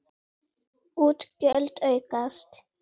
Útgjöld aukast!